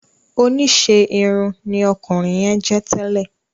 Oníṣe irun ní ọkunrin yẹn jẹ tẹlẹ